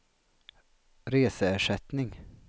reseersättning